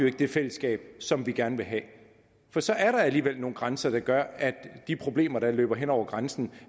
ikke det fællesskab som vi gerne have for så er der alligevel nogle grænser der gør at de problemer der løber hen over grænsen